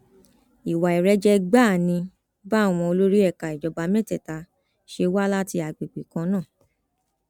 ìwà ìrẹjẹ gbáà ni báwọn olórí ẹka ìjọba mẹtẹẹta ṣe wá láti àgbègbè kan náà